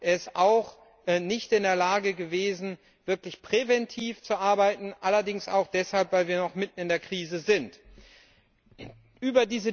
Sie ist auch nicht in der Lage gewesen, wirklich präventiv zu arbeiten, allerdings auch deshalb, weil wir noch mitten in der Krise stecken.